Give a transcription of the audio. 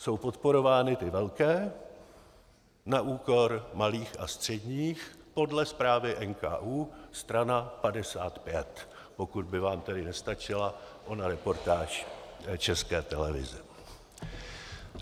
Jsou podporovány ty velké na úkor malých a středních podle zprávy NKÚ, strana 55, pokud by vám tedy nestačila ona reportáž České televize.